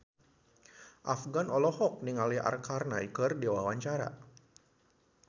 Afgan olohok ningali Arkarna keur diwawancara